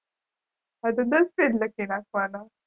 હા તો દસ પેજ લખી નાખવાના.